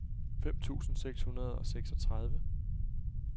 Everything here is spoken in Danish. fem tusind seks hundrede og seksogtredive